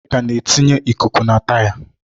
Nneka na-etinye ikuku na taya.